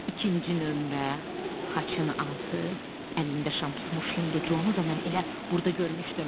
İkinci nömrə xaçın altı əlində şam tutmuş Hinducunu da mən elə burda görmüşdüm.